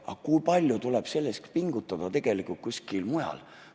Aga kui palju tuleb selleks pingutada tegelikult kuskil mujal?